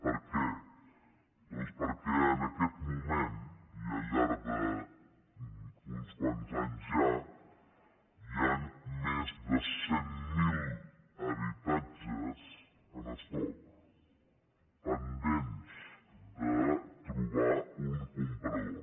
per què doncs perquè en aquest moment i al llarg d’uns quants anys ja hi han més de cent mil habitatges en estoc pendents de trobar un comprador